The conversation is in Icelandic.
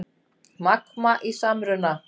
Magma í samruna